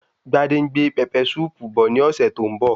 Gbadé ń gbé pẹpẹ súùpù bọ̀ ní ọ̀sẹ̀ tó ń bọ̀